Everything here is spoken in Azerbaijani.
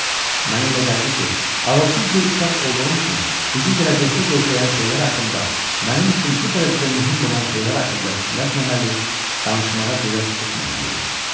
Mənə elə gəldi ki, ağılsız bir uşaq olduğum üçün bizi gələcəkdə gözləyən şeylər haqqında, mənim üçün bu dərəcədə mühüm olan şeylər haqqında fikirləşməməli, danışmağa cürət etməməliyəm.